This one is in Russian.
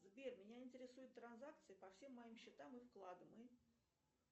сбер меня интересуют транзакции по всем моим счетам и вкладам и